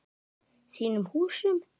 Þínum húsum?